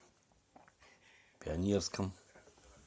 пионерском